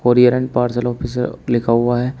और पार्सल ऑफिसअ लिखा हुआ है।